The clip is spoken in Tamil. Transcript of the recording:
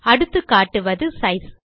அடுத்து காட்டுவது சைஸ்